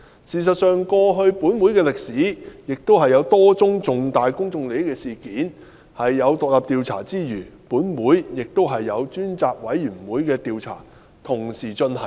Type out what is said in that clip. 事實上，根據本會的歷史，過去有多宗涉及重大公眾利益的事件，除有獨立調查委員會調查外，本會亦有專責委員會同時進行調查。